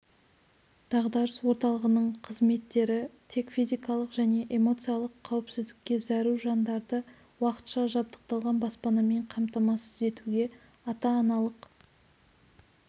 дағдарыс орталығының қызметтері тек физикалық және эмоциялық қауіпсіздікке зәру жандарды уақытша жабдықталған баспанамен қамтамасыз етуге ата-аналық